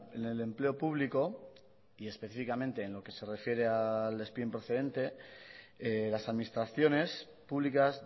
en el empleo público y específicamente en lo que se refiere al despido improcedente las administraciones públicas